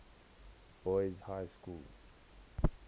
boys high school